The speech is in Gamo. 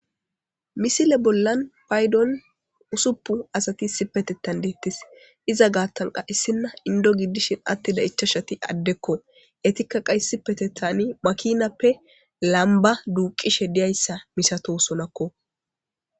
Misile bollan paydon usuppu asati sipetetan deettis iza gaattanqa issinna indo giddishin attida ichashati addekko etikka qayssippete tani makinappe lamba duuqishe diyayssa misato sonakko.